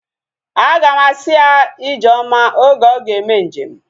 Aga m asị ya ijeoma oge ọ ga-eme njem